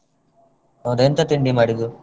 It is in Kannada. ಹೌದ ಎಂತ ತಿಂಡಿ ಮಾಡಿದ್ದು?